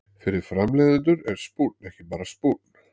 Fyrir framleiðendur er spúnn er ekki bara spúnn.